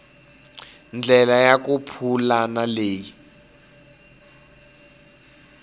ndlela ya ku pulana leyi